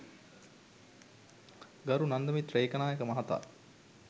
ගරු නන්දිමිත්‍ර ඒකනායක මහතා